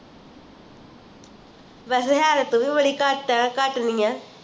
ਵੈਸੇ ਹੈ ਤੇ ਤੂੰ ਵੀ ਬੜੀ ਘਟ ਘਟ ਨਹੀਂ ਹੈ